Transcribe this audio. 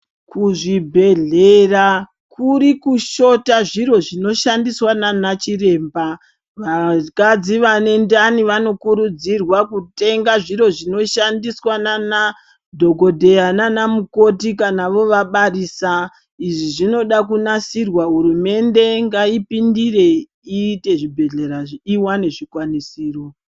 Kuzvibhedhlera kuri kushota zviro zvinoshandiswa naanachiremba. Vakadzi vane ndani vanokurudzirwa kutenga zviro zvinoshandiswa naanadhokodheya naanamukoti, kana vovabarisa. Izvi zvinoda kunasirwa kuti hurumende ngaipindire iite zvibhedhlera zviwane zvikwanisiro .